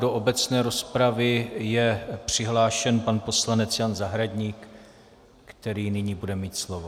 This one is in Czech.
Do obecné rozpravy je přihlášen pan poslanec Jan Zahradník, který nyní bude mít slovo.